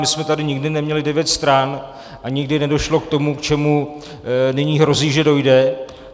My jsme tady nikdy neměli devět stran a nikdy nedošlo k tomu, k čemu nyní hrozí, že dojde.